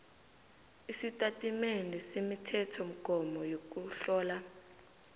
isitatimende semithethomgomo yokuhlola